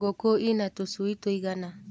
Ngũkũ ina tũcui tũigana.